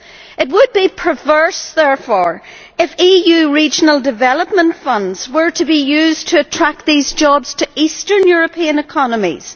It would be perverse, therefore, for EU regional development funds to be used to attract these jobs to Eastern European economies.